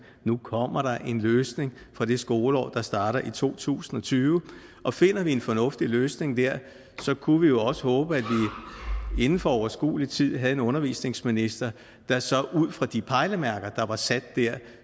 nu kommer der en løsning for det skoleår der starter i to tusind og tyve og finder vi en fornuftig løsning der så kunne vi jo også håbe at vi inden for overskuelig tid havde en undervisningsminister der så ud fra de pejlemærker der var sat der